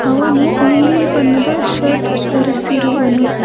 ಅವನು ನೀಲಿ ಬಣ್ಣದ ಶರ್ಟ್ ಧರಿಸಿರುವನು.